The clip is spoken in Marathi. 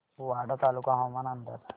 वाडा तालुका हवामान अंदाज